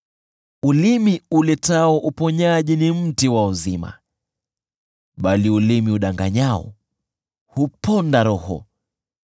Ulimi uletao uponyaji ni mti wa uzima, bali ulimi udanganyao huponda roho.